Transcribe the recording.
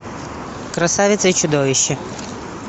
красавица и чудовище